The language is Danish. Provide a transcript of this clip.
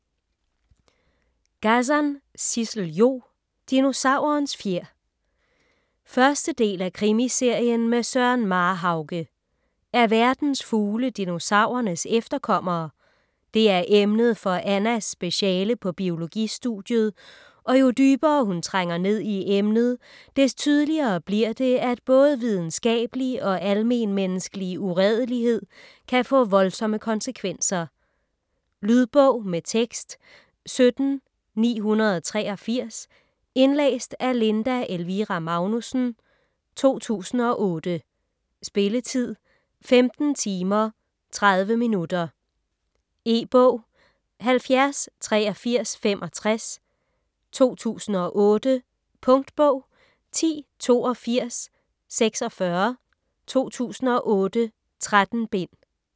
Gazan, Sissel-Jo: Dinosaurens fjer 1. del af Krimiserien med Søren Marhauge. Er verdens fugle dinosaurernes efterkommere? Det er emnet for Annas speciale på biologistudiet, og jo dybere hun trænger ned i emnet, des tydeligere bliver det, at både videnskabelig og almenmenneskelig uredelighed kan få voldsomme konsekvenser. Lydbog med tekst 17983 Indlæst af Linda Elvira Magnussen, 2008. Spilletid: 15 timer, 30 minutter. E-bog 708365 2008. Punktbog 108246 2008. 13 bind.